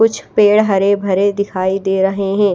कुछ पेड़ हरे भरे दिखाई दे रहे है।